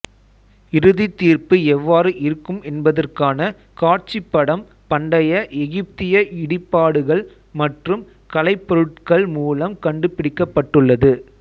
இறுதித் தீர்ப்பு எவ்வாறு இருக்கும் என்பதற்கான காட்சிப் படம் பண்டைய எகிப்திய இடிபாடுகள் மற்றும் கலைப்பொருட்கள் மூலம் கண்டுபிடிக்கப்பட்டுள்ளது